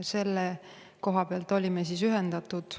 Selle koha pealt olime ühendatud.